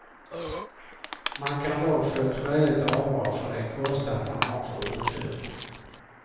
Man kan dock få ett skäligt avdrag för den kostnad man har för uthyrningen.